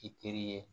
I teri ye